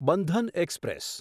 Bandhan express